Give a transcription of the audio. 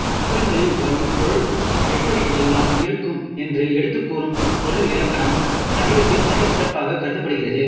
பாடல்களில் வரும் பொருள் எப்படி எல்லாம் இருக்கும் என்று எடுத்துக் கூறும் பொருள் இலக்கணம் தமிழுக்குத் தனிச் சிறப்புகாகக் கருதப்படுகிறது